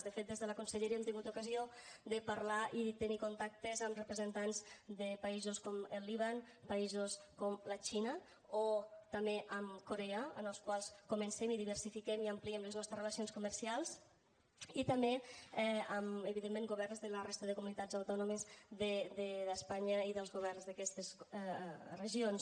de fet des de la conselleria hem tingut ocasió de parlar i tenir contactes amb representants de països com el líban països com la xina o també amb corea amb els qual comencem i diversifiquem i ampliem les nostres relacions comercials i també amb evidentment governs de la resta de comunitats autònomes d’espanya els governs d’aquestes regions